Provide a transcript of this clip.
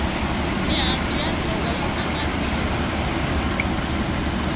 mihandzu ya nhova yi aka mirhi